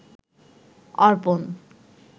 অর্পণ